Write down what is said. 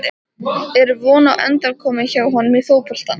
Er von á endurkomu hjá honum í fótboltann?